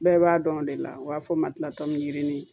Bɛɛ b'a dɔn o de la u b'a fɔ ma yirini